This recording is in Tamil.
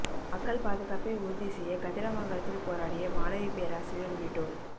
மக்கள் பாதுகாப்பை உறுதி செய்ய கதிராமங்கலத்தில் போராடிய மாணவி பேராசிரியர் உள்ளிட்டோர்